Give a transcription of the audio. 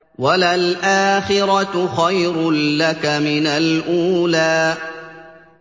وَلَلْآخِرَةُ خَيْرٌ لَّكَ مِنَ الْأُولَىٰ